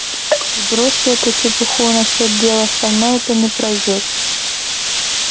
и бросьте эту чепуху насчёт дела со мной это не пройдёт